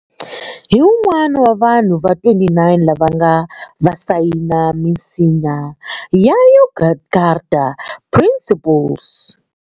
Hi wun'wana wa vanhu va 29 lava va nga sayina minsinya ya Yogyakarta Principles.